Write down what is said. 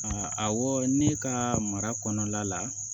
A awɔ ne ka mara kɔnɔna la